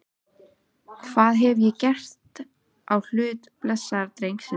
Hvað hef ég gert á hlut blessaðs drengsins?